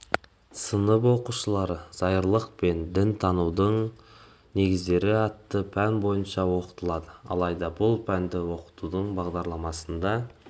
сынып оқушылары зайырлылық пен дінтанудың негіздері атты пәні бойынша оқытылады алайда бұл пәнді оқытудың бағдарламасында